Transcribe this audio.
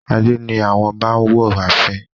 adé ni àwọn ọba wọ ààfin.